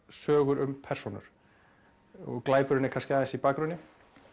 sögur um persónur og glæpurinn er kannski aðeins í bakgrunni